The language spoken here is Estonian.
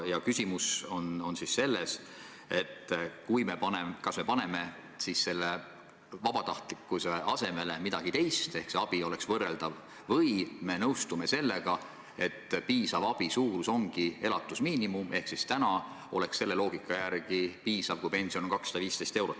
Ja küsimus on selles, kas me paneme selle vabatahtlikkuse asemele midagi teist, et see abi oleks võrreldav, või me nõustume sellega, et piisav abi suurus ongi elatusmiinimum – ehk täna oleks selle loogika järgi piisav, kui pension oleks 215 eurot.